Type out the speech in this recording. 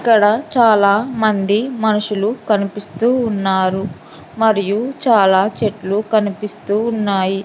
ఇక్కడ చాలా మంది మనుషులు కనిపిస్తూ ఉన్నారు మరియు చాలా చెట్లు కనిపిస్తూ ఉన్నాయి.